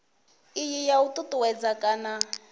iyi ya u ṱuṱuwedza kana